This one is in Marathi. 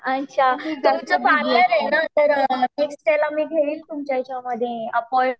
अच्छा तुमचं पार्लर आहे ना तर नेक्स्ट घेईल तुमच्या याच्यामध्ये